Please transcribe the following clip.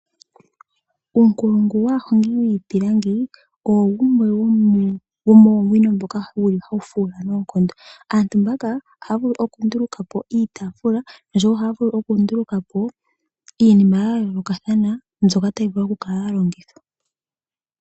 Uunkulungu waahongi yiipilangi owo wumwe wo moowino ndhono hadhi fuula noonkondo. Aantu mbaka ohaya vulu okunduluka po iitaafula, ishewe ohaya vulu okunduluka po iinima ya yoolokathana mbyoka tayi vulu okukala ya longithwa.